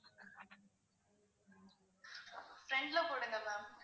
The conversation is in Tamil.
front ல போடுங்க ma'am